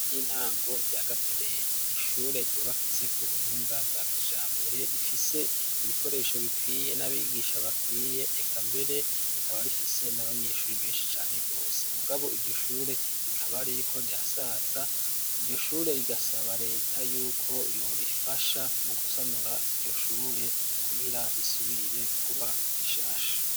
Ishure ry'intango rya Gatereni, n'ishure ryubakitse ku buhinga bwa kijambere, rifise ibikoresho bikwiye n'abigisha bakwiye, eka mbere rikaba rifise n'abanyeshuri benshi cane rwose, mugabo iryo shure rikaba ririko rirasaza, iryo shure rigasaba leta y'uko yorifasha mu gusanura iryo shure kugira risubire kuba rishasha.